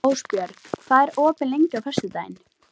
Ásbjörg, hvað er opið lengi á föstudaginn?